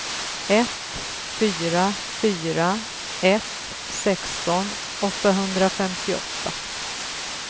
ett fyra fyra ett sexton åttahundrafemtioåtta